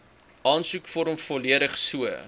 aansoekvorm volledig so